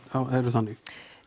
eru þannig